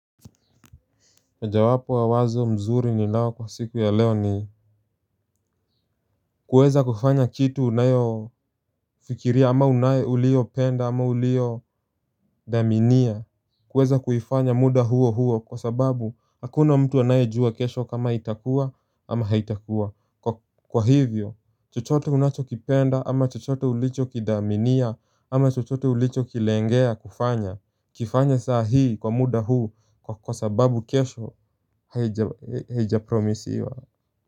Mojawapo wa wazo mzuri ninao kwa siku ya leo ni kuweza kufanya kitu unayofikiria ama uliyopenda ama uliyodhaminia. Kuweza kuifanya muda huo huo kwa sababu, hakuna mtu anayejua kesho kama itakuwa ama haitakuwa. Kwa hivyo chochote unachokipenda ama chochote ulichokidhaminia ama chochote ulichokilengea kufanya, kifanye saa hii kwa muda huu kwa sababu kesho haijapromisiwa.